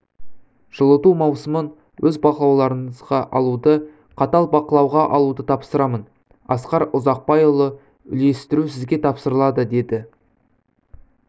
жылыту маусымын өз бақылауларыңызға алуды қатал бақылауға алуды тапсырамын асқар ұзақбайұлы үйлестіру сізге тапсырылады деді